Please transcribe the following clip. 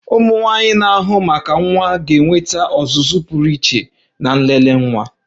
ụmụnwaanyi na-ahụ maka nwa ga-enweta ọzụzụ pụrụ iche na nlele nwa